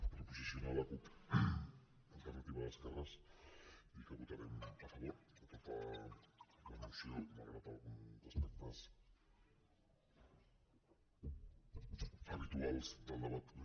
per posicionar la cup alternativa d’esquerres dir que votarem a favor de tota la moció malgrat alguns aspectes habituals del debat polític